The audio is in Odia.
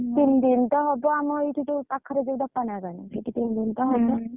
ତିନ ଦିନ ତ ହବ ଆମ ଏଇଠି ଯଉ ପାଖରେ ଯୋଉଟ ପଣା ପାଣି ସେଠି ତିନି ଦିନ ତ ହବ।